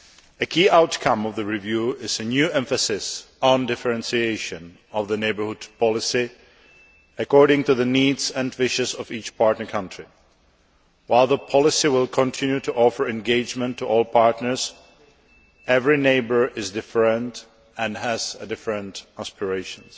A key outcome of the review is a new emphasis on differentiation of the Neighbourhood Policy, according to the needs and wishes of each partner country. While the policy will continue to offer engagement to all partners, every neighbour is different and has different aspirations.